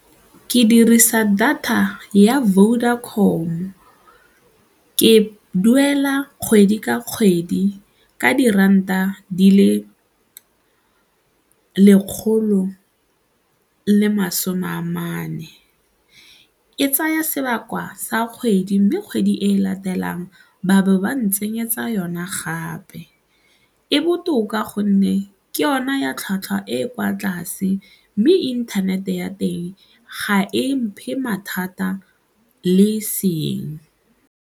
Ke dirisa data ya Vodacom-o, ke duela kgwedi ka kgwedi ka diranta di le lekgolo le masome a mane, e tsaya sebaka sa kgwedi mme kgwedi e e latelang ba bo ba ntsenyetsa yona gape. E botoka gonne ke yona ya tlhwatlhwa e kwa tlase mme internet-e ya teng ga e mphe mathata le e seng.